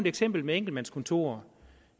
eksempel med enkeltmandskontorer